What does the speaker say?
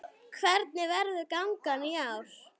Hvernig verður gangan í ár?